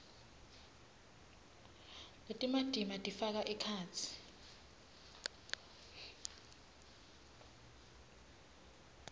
letimatima tifaka ekhatsi